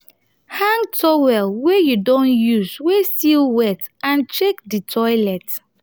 hang towel wey you don use wey still wet and check di toilet